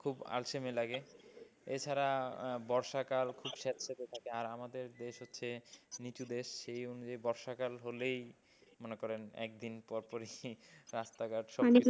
খুব আলসেমি লাগে, এছাড়া বর্ষাকাল খুব স্যাঁতস্যাঁতে থাকে আর আমাদের দেশ হচ্ছে নিচু দেশ সেই অনুযায়ী বর্ষাকাল হলেই মনে করেন একদিন পরপরই রাস্তাঘাট,